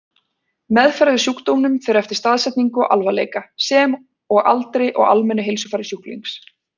Meðferð við sjúkdómnum fer eftir staðsetningu og alvarleika, sem og aldri og almennu heilsufari sjúklings.